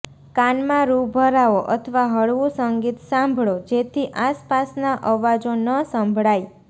કાનમાં રૂ ભરાવો અથવા હળવું સંગીત સાંભળો જેથી આસપાસના અવાજો ન સંભળાય